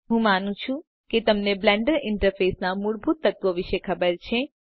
હું માનું છુ કે તમને બ્લેન્ડર ઇન્ટરફેસના મૂળભૂત તત્વો વિષે ખબર છે